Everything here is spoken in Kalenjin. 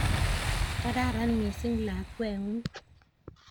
kararan mising lakwengung